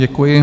Děkuji.